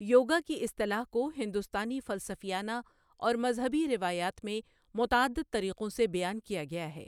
یوگا کی اصطلاح کو ہندوستانی فلسفیانہ اور مذہبی روایات میں متعدد طریقوں سے بیان کیا گیا ہے۔